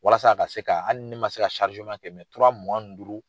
Walasa a ka se ka hali ni ne ma se ka kɛ tura mugan ni duuru